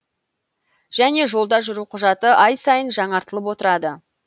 және жолда жүру құжаты ай сайын жаңартылып отырады